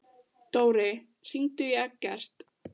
Dóri, hringdu í Eggert.